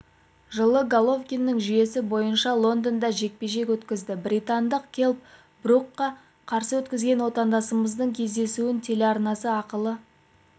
жылы головкиндің жүйесі бойынша лондонда жекпе-жек өткізді британдық келл брукқа қарсы өткізген отандасымыздың кездесуін телеарнасы ақылы